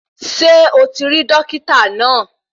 Ṣé o ti rí Dokita náà?